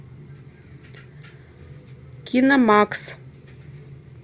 киномакс